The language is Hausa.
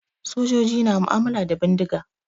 Sojoji na mu'ammala da bindiga.